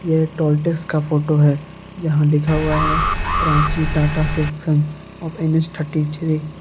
ये toll tax का photo है जहां लिखा हुआ है Ranchi Tata section of NH thirty three.